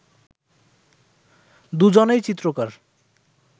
দুজনেই চিত্রকর